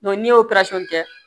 n'i y'o kɛ